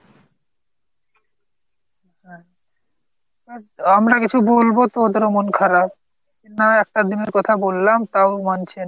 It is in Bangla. হ্যাঁ আমরা কিছু বলব তো ওদের মন খারাপ কিনা একটা দিনের কথা বললাম তাও মানছে না